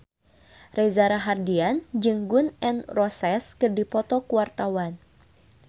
Reza Rahardian jeung Gun N Roses keur dipoto ku wartawan